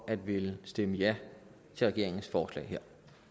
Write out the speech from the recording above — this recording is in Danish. at ville stemme ja til regeringens forslag